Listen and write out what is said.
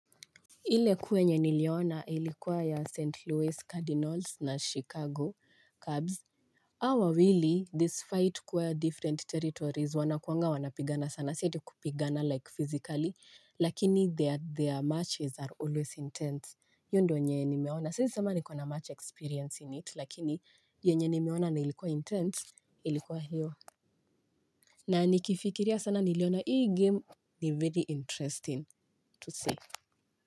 Ile kuu yenye niliona ilikuwa ya St. Louis Cardinals na Chicago Cubs hawa wawili despite kuwa ya different territories wanakuanga wanapigana sana zaidi kupigana like physically. Lakini their matches are always intense iyo ndo yenye nimeona siezisema niko na match experience in it lakini yenye nimeona na ilikuwa intense ilikuwa hiyo. Na nikifikiria sana niliona hii game ni very interesting to see.